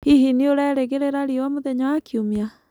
hĩhĩ nĩũraerĩgĩrĩra rĩũa mũthenya wa kĩumĩa